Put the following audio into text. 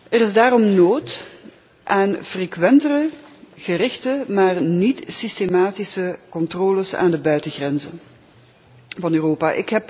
Er is daarom nood aan frequentere, gerichte, maar niet systematische controles aan de buitengrenzen van Europa.